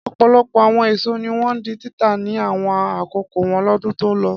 Ọ̀pọ̀lọpọ̀ àwọn èso ní wọ́n di títà ní àwọn àkókò wọn lọ́dún tó lọ.